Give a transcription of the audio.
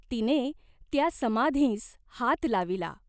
तिने त्या समाधींस हात लाविला.